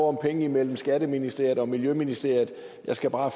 om penge mellem skatteministeriet og miljøministeriet jeg skal bare